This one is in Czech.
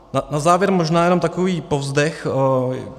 Na závěr možná jenom takový povzdech.